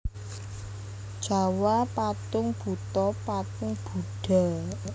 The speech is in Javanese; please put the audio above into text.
Jawa Patung Buto patung Budha